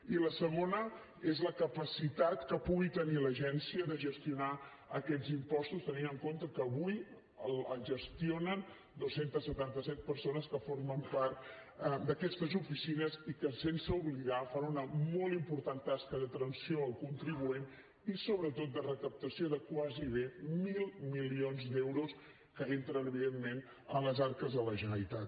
i la segona és la capacitat que pugui tenir l’agència de gestionar aquests impostos tenint en compte que avui els gestionen dos cents i setanta set persones que formen part d’aquestes oficines i que sense oblidar ho fan una molt important tasca d’atenció al contribuent i sobretot de recaptació de gairebé mil milions d’euros que entren evidentment a les arques de la generalitat